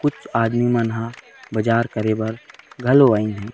कुछ आदमी मन बाजार करे बर घलो आइन हे।